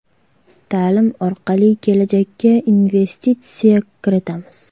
Ta’lim orqali kelajakka investitsiya kiritamiz.